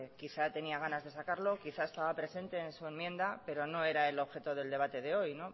quizá tenía ganas de sacarlo quizá estaba presente en su enmienda pero no era el objeto del debate de hoy